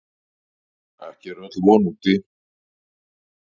Ekki er öll von úti.